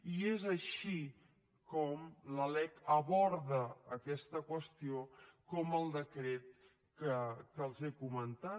i és així com la lec aborda aquesta qüestió com el decret que els he comentat